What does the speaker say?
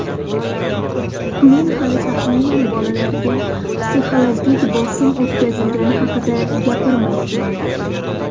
Men hali tag‘inam bolalarga psixologik bosim o‘tkazilgani haqida gapirmayapman.